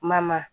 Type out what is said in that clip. Ma ma